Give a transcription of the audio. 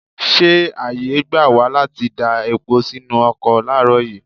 Ṣé ààyè gbà wá láti da epo sínú ọkọ láàárọ̀ yìí?